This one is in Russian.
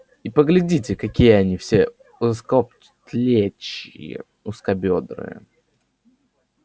и поглядите какие они все узкоплечие узкобёдрые